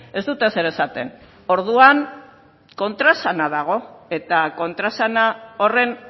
ez dute ezer esaten orduan kontraesana dago eta kontraesana horren